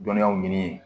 Dɔnniyaw ɲini